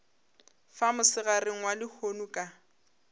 fa mosegareng wa lehono ka